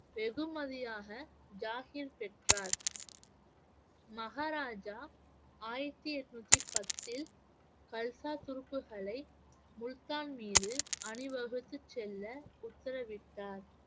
வெகுமதியாக பெற்றார் மகாராஜா ஆயிரத்தி எட்நூத்தி பத்தில் கல்சா துருப்புகளை முல்தான் மீது அணிவகுத்துச் செல்ல உத்தரவிட்டார்